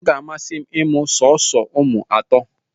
Ọ ga-amasị m ịmụ sọọsọ ụmụ atọ